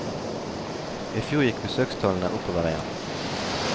I fjor gikk besøkstallene oppover igjen.